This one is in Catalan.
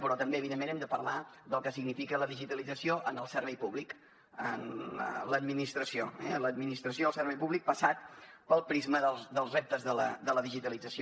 però també evidentment hem de parlar del que significa la digitalització en el servei públic a l’administració eh l’administració del servei públic passat pel prisma dels reptes de la digitalització